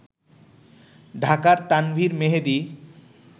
ঢাকার তানভীর মেহেদি